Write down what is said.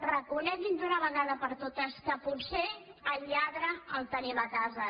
reconeguin d’una vegada per totes que potser el lladre el tenim a casa